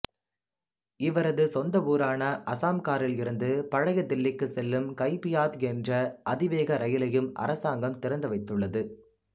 இவரது சொந்த ஊரான அசாம்காரில் இருந்து பழைய தில்லிக்கு செல்லும் கைபியாத் என்ற அதிவேக இரயிலையும் அரசாங்கம் திறந்து வைத்துள்ளது